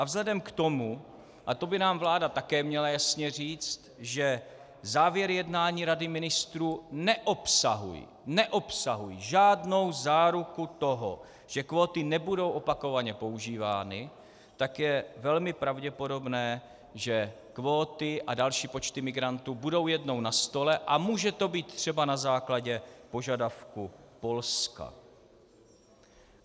A vzhledem k tomu, a to by nám vláda také měla jasně říct, že závěry jednání Rady ministrů neobsahují žádnou záruku toho, že kvóty nebudou opakovaně používány, tak je velmi pravděpodobné, že kvóty a další počty migrantů budou jednou na stole a může to být třeba na základě požadavku Polska.